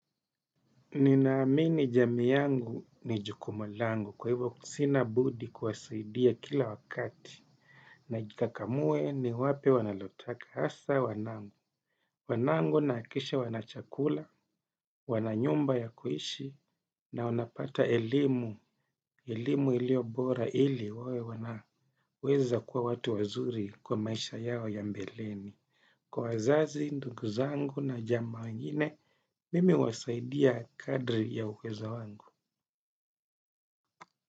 Ninaamini jamii yangu ni jukumu langu kwa hivyo sina budi kuwasaidia kila wakati. Najikakamue niwape wanalotaka hasa wanangu. Wanangu nahakikisha wana chakula, wana nyumba ya kuishi na wanapata elimu. Elimu iliyo bora ili wawe wanaweza kuwa watu wazuri kwa maisha yao ya mbeleni. Kwa wazazi, ndugu zangu na jamaa wengine, mimi huwasaidia kadri ya uwezo wangu.